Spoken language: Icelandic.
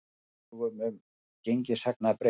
Lögum um gengishagnað breytt